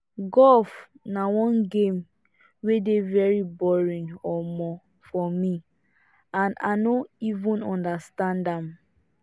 golf na one game wey dey very boring um for me and i no even understand am